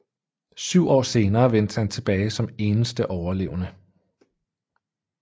Syv år senere vendte han tilbage som eneste overlevende